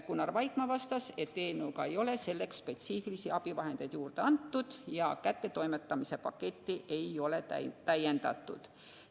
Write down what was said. Gunnar Vaikmaa vastas, et eelnõuga ei ole selleks spetsiifilisi abivahendeid juurde antud ja kättetoimetamise paketti ei ole täiendatud.